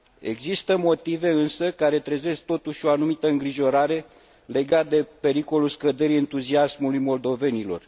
Există motive care trezesc totuși o anumită îngrijorare legată de pericolul scăderii entuziasmului moldovenilor.